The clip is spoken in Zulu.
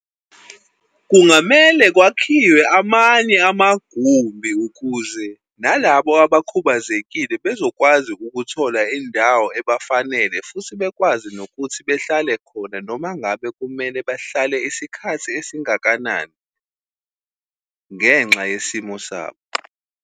Kungamele kwakhiwe amanye amagumbi, ukuze na labo abakhubazekile bezokwazi ukuthola indawo ebafanele, futhi bekwazi nokuthi behlale khona noma ngabe kumele bahlale isikhathi esingakanani ngenxa yesimo sabo.